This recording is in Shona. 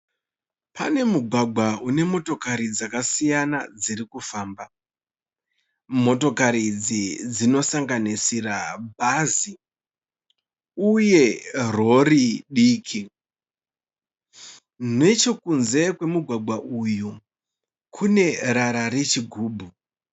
Pane mugwagwa une motokari dzakasiyana dzirikufamba, motokari idzi dzinosanganisira bhazi uye rori diki, nechekunze kwemugwagwa uyu kune rara rechigubhu.